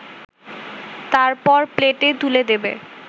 তারপর প্লেটে তুলে দেবে